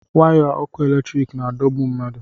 waya ọkụ eletiriki na-adọ mmadụ